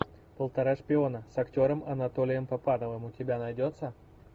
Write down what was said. полтора шпиона с актером анатолием папановым у тебя найдется